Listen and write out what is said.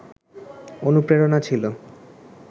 অনুপ্রেরণা ছিল